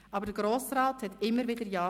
Aber der Grosse Rat sagte immer wieder Ja.